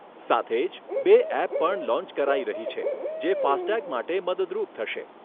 સાથે જ બે એપ પણ લોન્ચ કરાઈ રહી છે જે ફાસ્ટટેગ માટે મદદરૂપ થશે.